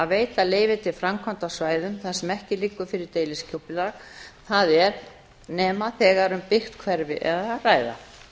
veita leyfi til framkvæmda á svæðum þar sem ekki liggur fyrir deiliskipulag það er nema þegar um byggt hverfi er að ræða